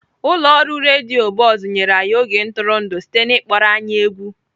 Ụlọ ọrụ redio Buzz nyere anyị oge ntụrụndụ site na ịkpọrọ anyị egwu.